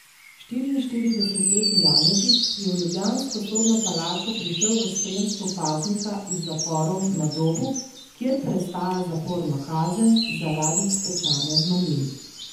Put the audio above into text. Štiriinštiridesetletni Janežič je v ljubljansko sodno palačo prišel v spremstvu paznika iz zaporov na Dobu, kjer prestaja zaporno kazen zaradi pečanja z mamili.